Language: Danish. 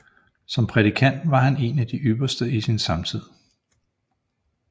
Som prædikant var han en af de ypperste i sin samtid